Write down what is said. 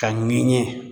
Ka ɲini